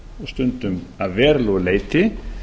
stundum að verulegu leyti